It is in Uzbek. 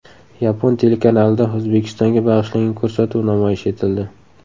Yapon telekanalida O‘zbekistonga bag‘ishlangan ko‘rsatuv namoyish etildi.